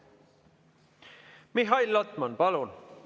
Mihhail Lotman, palun!